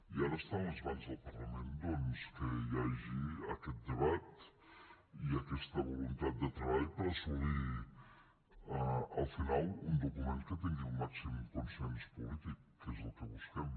i ara està a les mans del parlament doncs que hi hagi aquest debat i aquesta voluntat de treball per assolir al final un document que tingui el màxim consens polític que és el que busquem